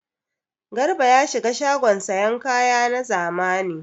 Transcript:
Garba ya shiga shagon sayan kaya na zamani.